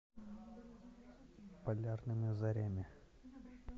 полярными зорями